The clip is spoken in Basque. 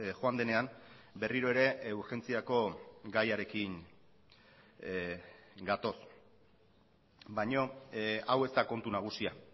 joan denean berriro ere urgentziako gaiarekin gatoz baina hau ez da kontu nagusia